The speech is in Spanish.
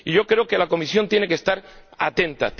Yo creo que la Comisión tiene que estar atenta.